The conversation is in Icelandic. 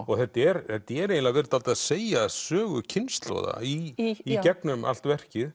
og þetta er eiginlega verið dálítið að segja sögu kynslóða í gegnum allt verkið